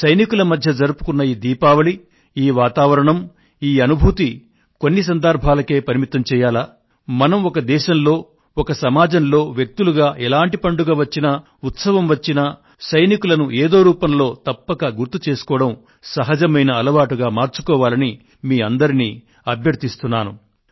సైనికుల మధ్య జరుపుకొన్న ఈ దీపావళి ఈ వాతావరణం ఈ అనుభూతులను కొన్ని సందర్భాలకే పరిమితం చేయాలా మనం ఒక దేశంలో ఒక సమాజంలో వ్యక్తులుగా ఎలాంటి పండుగ వచ్చినా ఉత్సవం వచ్చినా సైనికులను ఏదో రూపంలో తప్పక గుర్తు చేసుకోవడం సహజమైన అలవాటుగా మార్చుకోవాలని మీ అందరినీ అభ్యర్ధిస్తున్నాను